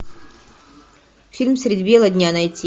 фильм средь бела дня найти